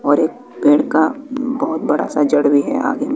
और एक पेड़ का बहोत बड़ा सा जड़ भी है आगे--